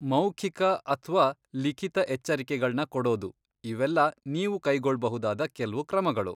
ಮೌಖಿಕ ಅಥ್ವಾ ಲಿಖಿತ ಎಚ್ಚರಿಕೆಗಳ್ನ ಕೊಡೋದು, ಇವೆಲ್ಲ ನೀವು ಕೈಗೊಳ್ಬಹುದಾದ ಕೆಲ್ವು ಕ್ರಮಗಳು.